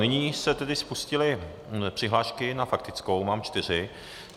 Nyní se tedy spustily přihlášky na faktickou, mám čtyři.